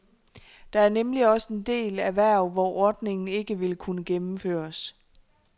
Der er nemlig også en del erhverv, hvor ordningen ikke ville kunne gennemføres.